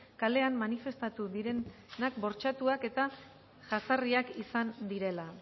kalean manifestatu direnak bortxatuak eta jazarriak izan direla